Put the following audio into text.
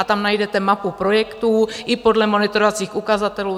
A tam najdete mapu projektů i podle monitorovacích ukazatelů.